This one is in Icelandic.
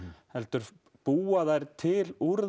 heldur búa þær til úr